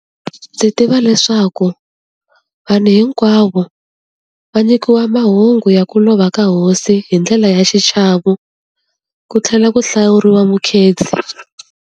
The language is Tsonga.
Ndzi tiva leswaku vanhu hinkwavo va nyikiwa mahungu ya ku lova ka hosi hi ndlela ya xichavo, ku tlhela ku hlawuriwa mukhensi.